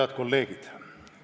Head kolleegid!